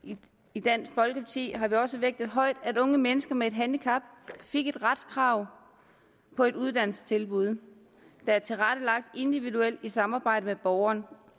i dansk folkeparti har vi også vægtet højt at unge mennesker med et handicap fik et retskrav på et uddannelsestilbud der er tilrettelagt individuelt i samarbejde med borgeren